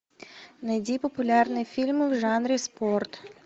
найди популярные фильмы в жанре спорт